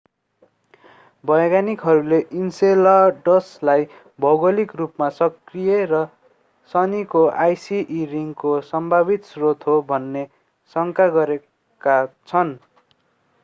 वैज्ञानिकहरूले enceladus लाई भौगोलिक रूपमा सक्रिय र शनिको icy e ring को सम्भावित स्रोत हो भन्ने शंका गरेका छन्